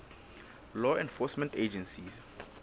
law enforcement agencies